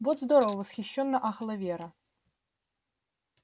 вот здорово восхищённо ахала вера